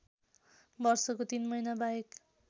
वर्षको ३ महिनाबाहेक